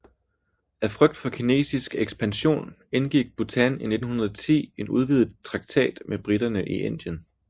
Af frygt for kinesisk ekspansion indgik Bhutan i 1910 en udvidet traktat med briterne i Indien